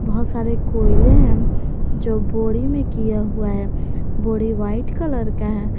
बहुत सारे कोयले हैं जो बोरी में किया हुआ है बोरी व्हाइट कलर का है।